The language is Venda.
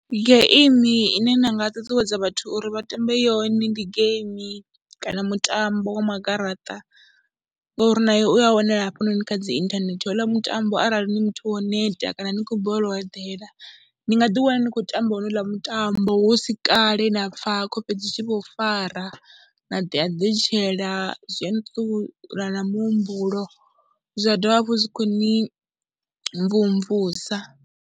Geimi ine nda nga ṱuṱuwedza vhathu uri vha tambe yone ndi geimi kana mutambo wa magaraṱa ngori nawo u ya wanala hafhanoni kha dzi inthanethe, ho uḽa mutambo arali ni muthu wo neta kana ni khou balelwa u eḓela ni nga ḓiwana ni khou tamba honouḽa mutambo hu si kale na pfha khofhe dzi tshi vho fara na ḓi eḓetshela, zwe a ni ṱuṱula na muhumbulo zwa dovha hafhu zwi khou ni mvumvusa.